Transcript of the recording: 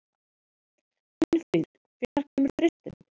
Finnfríður, hvenær kemur þristurinn?